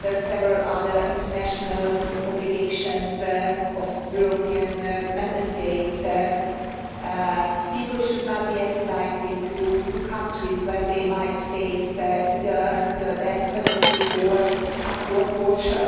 several other international obligations of European Member States, people should not be extradited to countries where they might face either the death penalty or torture.